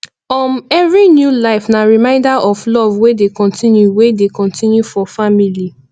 um every new life na reminder of love wey dey continue wey dey continue for family